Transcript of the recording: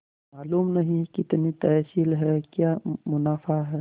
मालूम नहीं कितनी तहसील है क्या मुनाफा है